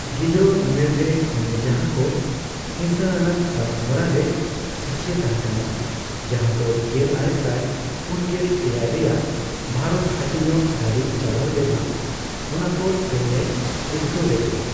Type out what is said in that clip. ᱜᱤᱫᱽᱨᱟᱹ ᱩᱢᱮᱨ ᱨᱮ ᱩᱱᱤ ᱡᱟᱦᱟᱸ ᱠᱚ ᱦᱤᱸᱥᱟᱹ ᱟᱱᱟᱜ ᱠᱟᱹᱢᱤ ᱦᱚᱨᱟ ᱨᱮ ᱥᱟᱹᱠᱷᱤᱭ ᱛᱟᱦᱮᱸᱠᱟᱱᱟ, ᱡᱟᱦᱟᱸ ᱫᱚ ᱜᱮᱞᱟᱨᱮᱥᱟᱭ ᱯᱩᱱᱜᱮᱞ ᱮᱭᱟᱭ ᱨᱮᱭᱟᱜ ᱵᱷᱟᱨᱚᱛ ᱦᱟᱹᱴᱤᱧᱚᱜ ᱫᱷᱟᱹᱵᱤᱡ ᱪᱟᱞᱟᱣᱞᱮᱱᱟ, ᱚᱱᱟᱠᱚ ᱥᱮᱱ ᱮ ᱩᱫᱽᱜᱟᱹᱣ ᱞᱮᱫᱮᱭᱟ ᱾